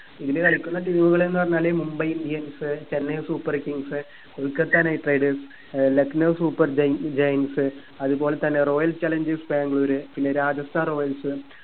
eel കളിക്കുന്ന team കളെന്ന് പറഞ്ഞാല് Mumbai indians Chennai super kings Kolkata knight riders ഏർ ലക്നൗ super gia giants അത് പോലെ തന്നെ royal challengers ബാംഗ്ലൂർ പിന്നെ രാജസ്ഥാൻ royals